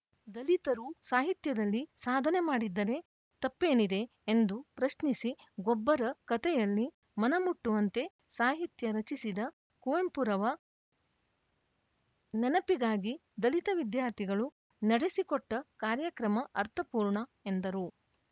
ದಲಿತರೂ ಸಾಹಿತ್ಯದಲ್ಲಿ ಸಾಧನೆ ಮಾಡಿದರೆ ತಪ್ಪೇನಿದೆ ಎಂದು ಪ್ರಶ್ನಿಸಿ ಗೊಬ್ಬರ ಕತೆಯಲ್ಲಿ ಮನಮುಟ್ಟುವಂತ ಸಾಹಿತ್ಯ ರಚಿಸಿದ ಕುವೆಂಪುರವ ನೆನಪಿಗಾಗಿ ದಲಿತ ವಿದ್ಯಾರ್ಥಿಗಳು ನಡೆಸಿಕೊಟ್ಟಕಾರ್ಯಕ್ರಮ ಅರ್ಥಪೂರ್ಣ ಎಂದರು